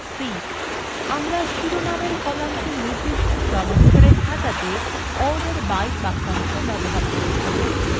আমরা শিরনামের কলামটি নির্দিষ্ট ক্রমানুসারে সাজাতে order by বাক্যাংশ ব্যবহার করেছি